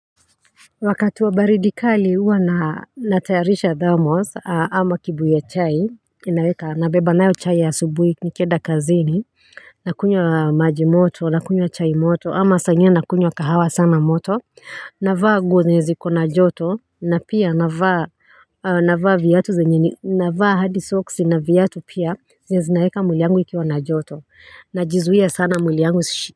Wakati wa baridi kali huwa na natayarisha thermos ama kibuyu ya chai, naweka, nabeba nayo chai ya asubuhi nikienda kazini nakunywa maji moto, nakunywa chai moto ama saa ingine nakunywa kahawa sana moto navaa nguo zenye ziko na joto na pia navaa viatu zenye ni, navaa hadi soksi na viatu pia zenye zinaweka mwili yangu ikiwa na joto. Najizuia sana mwili yangu.